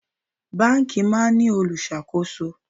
Báńkì máa ń ní olùṣàkóso.